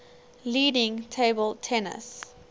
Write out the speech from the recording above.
leading table tennis